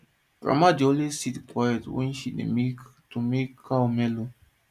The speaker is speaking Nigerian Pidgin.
mama dey always sit quiet when she dey milk to make cow mellow